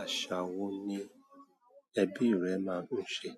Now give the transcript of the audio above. Àṣà wo ni ẹbí rẹ máa ń ṣe?